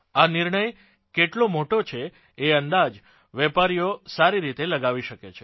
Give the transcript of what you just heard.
આ નિર્ણય કેટલો મોટો છે એઅંદાજ વેપારીઓ સારી રીતે લગાવી શકે છે